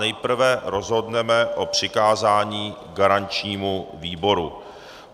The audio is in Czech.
Nejprve rozhodneme o přikázání garančnímu výboru.